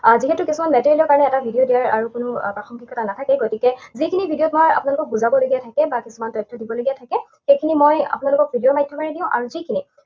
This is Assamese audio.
আহ যিহেতু তেনেকুৱা কোনো message ৰ কাৰণে এটা video দিয়া আৰু কোনো প্ৰাসংগিকতা নাথাকে, গতিকে যিখিনি video ত মই আপোনালোকক বুজাবলগীয়া থাকে বা কিছুমান তথ্য দিবলগীয়া থাকে, সেইখিনি মই আপোনালোকক video ৰ মাধ্যমেৰে দিম। আৰু যিখিনি